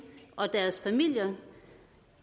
og deres familier